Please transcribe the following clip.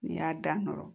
N'i y'a dan n kɔrɔ